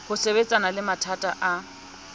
ho sebetsana le mathata a